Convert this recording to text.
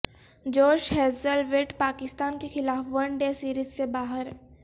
جوش Hazlewood Pakistan کے خلاف ون ڈے سیریز سے باہر